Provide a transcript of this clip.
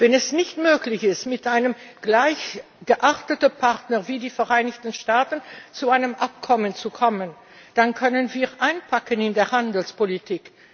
Wenn es nicht möglich ist, mit einem gleichartigen Partner wie den Vereinigten Staaten zu einem Abkommen zu kommen, dann können wir einpacken in der Handelspolitik.